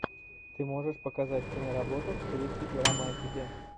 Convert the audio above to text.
ты можешь показать киноработу в стилистике романтики